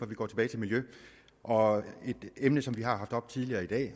for vi går tilbage til miljø og et emne som vi har haft oppe tidligere i dag